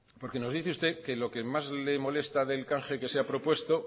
nos dice usted que lo que más le molesta del canje que se ha propuesto